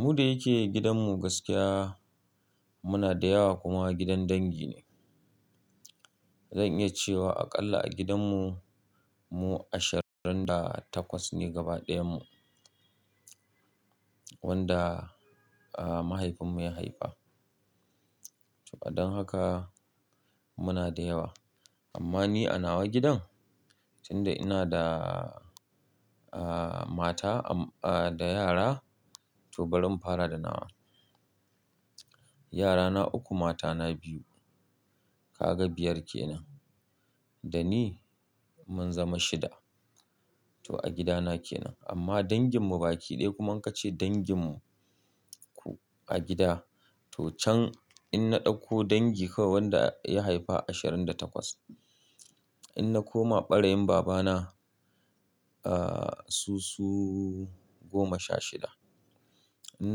Mu da yake gidan mu gaskiya muna da yawa kuma gidan dangi ne. Zan iya cewa aƙalla a gidan mu, mu ashirin da takwas ne gabaɗayanmu wanda, aah mahaifin mu ya haifa. To a don haka muna da yawa amma ni a nawa gidan tunda ina da, aah mata am, aah da yara to bari in fara da nawa. Yara na uku, mata na biyu ka ga biyar kenan, da ni mun zama shida. To a gida na kenan amma dangin mu baki ɗaya kuma in ka ce dangin mu ku a gida to can in na ɗauko dangi kawai wanda ya haifa ashirin da takwas, in na koma ɓarayin babana, aah su su goma sha shida. In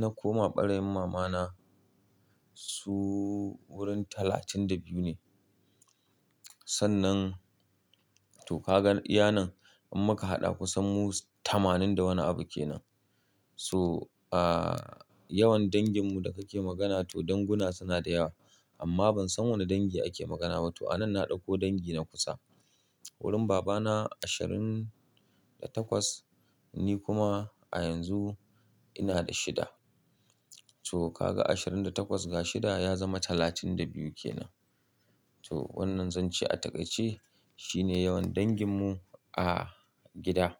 na koma ɓarayin mamana su wurin talatin da biyu ne. Sannan to ka gan iyanan in muka haɗa kusan mu tamanin da wani abu kenan. So aah yawan dangin mu da kake magana to danguna suna da yawa amma ban san wani dangi ake magana ba. To a nan na ɗauko dangi na kusa wurin babana ashirin da takwas ni kuma a yanzu ina da shida. To ka ga ashirin da takwas ga shida ya zama talatin da biyu kenan. To wannan zan ce a takaice shine yawan dangin mu a gida.